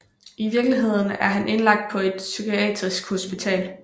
I virkeligheden er han indlagt på et psykiatrisk hospital